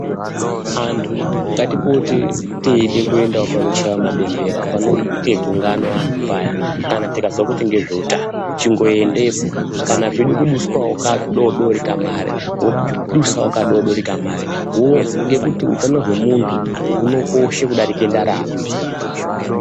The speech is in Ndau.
Antu ngatipote teide kuendawo panochaiwa mabembera panoite gungano antu paya kana tikazwa kuti ngezveutano. Chingoendepo, kana peide kudaswawo kadoodori kamare wodusawo kadoodori kamare wozwa ngekuti utano hwemuntu hunokoshe kudarika ndarama.